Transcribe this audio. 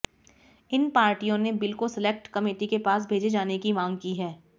इन पार्टियों ने बिल को सिलेक्ट कमेटी के पास भेजे जाने की मांग की है